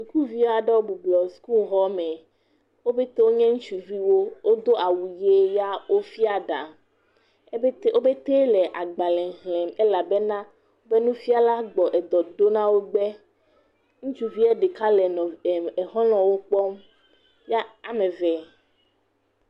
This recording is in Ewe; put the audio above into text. Sukuvi aɖewo bublɔ sukuxɔme. Wo pɛte wo nye ŋutsuviwo. Wo do awu ʋi ya wofia ɖa ebetɛ wo pɛte le agbale xlem elabena woƒe nufiala gbɔna dɔ ɖo na wo gbe. Ŋutsuvia ɖeka le nɔv e xɔlɔwo kpɔm ya ame eve.